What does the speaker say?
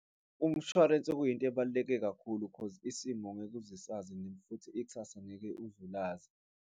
Umshwarensi kuyinto ebaluleke kakhulu cause isimo ngeke uze usazi and futhi ikusasa ngeke uze ulazi.